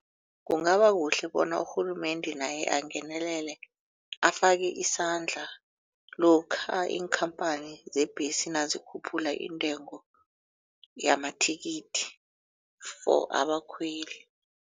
Kungabakuhle bona urhulumende naye angenelele afake isandla lokha iinkhamphani zebhesi nazikhuphula intengo yamathikithi for abakhweli.